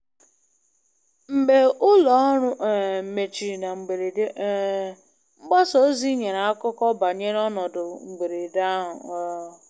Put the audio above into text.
Mgbe ulo oru um mechiri na mberede, um mgbasa ozi nyere akụkọ banyere ọnọdụ mberede ahụ um